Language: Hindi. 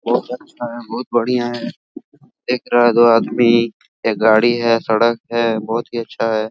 बहुत अच्छा है बहुत बढ़िया है एक रह गया आदमी एक गाड़ी है सड़क है बहुत ही अच्छा है। ।